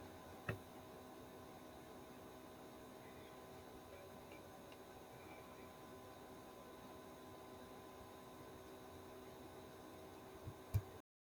Ho ba karolo ya Shoprite Group ho atolositse tsebo ya Malinga ya indasteri ya mabenkele.